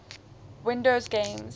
windows games